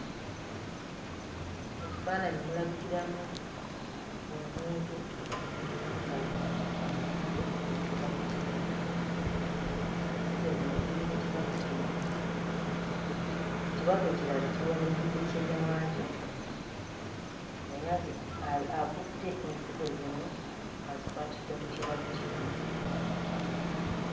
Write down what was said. Mu kifaananyi mulabikiramu omuntu ng'akutte ensigo mu kibatu kye, ensigo zino ziri mu kibatu kimu ekibatu ekirala kiwaniridde kinnewaakyo naye aziku akutte ensigo zino azikwatidde mu kibatu kimu.